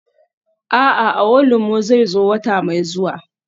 A'a, awolumo zai zo wata mai zuwa.